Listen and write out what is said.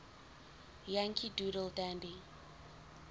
yankee doodle dandy